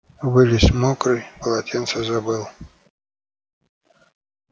вылез мокрый полотенце забыл